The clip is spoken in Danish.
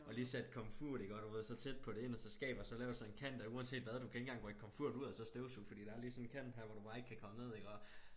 Og lige sat komfuret iggå du ved så tæt på det inderste skab og så lave sådan en kant at uanset hvad du kan ikke engang rykke komfuret ud og så støvsuge fordi der er lige sådan en kant her hvor du bare ikke kan komme ned iggå